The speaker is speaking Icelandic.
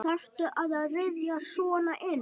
Þarftu að ryðjast svona inn?